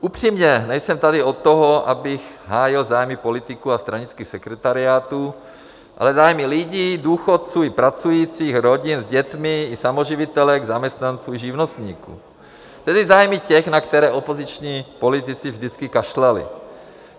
Upřímně, nejsem tady od toho, abych hájil zájmy politiků a stranických sekretariátů, ale zájmy lidí, důchodců, pracujících rodin s dětmi i samoživitelek, zaměstnanců i živnostníků, tedy zájmy těch, na které opoziční politici vždycky kašlali.